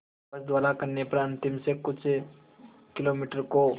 बस द्वारा करने पर अंतिम से कुछ किलोमीटर को